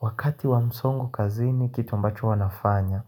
Wakati wa msongo kazini kitu ambacho huwa nafanya,